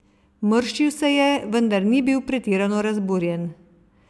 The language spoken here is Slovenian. Mrščil se je, vendar ni bil pretirano razburjen.